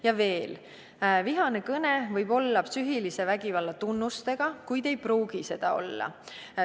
Ta ütleb: "Vihane kõne võib olla psüühilise vägivalla tunnustega, kuid ei pruugi seda olla.